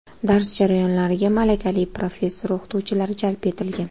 Dars jarayonlariga malakali professor-o‘qituvchilar jalb etilgan.